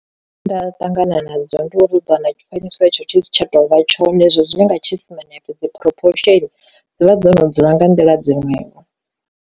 Nda ṱangana nadzo ndi uri u ḓo wana tshifanyiso hetsho tshi si tsha tovha tshone hezwo zwine nga tshi sina dzivha dzo no dzula nga nḓila dziṅwevho.